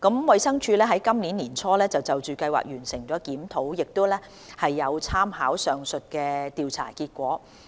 衞生署於今年年初就計劃完成的檢討，亦有參考上述調查結果。